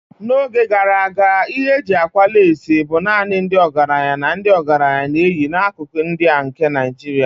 N'oge gara aga ihe eji akwa leesị bụ naanị ndị ọgaranya na ndị ọgaranya na-eyi n'akụkụ ndị a nke Nigeria.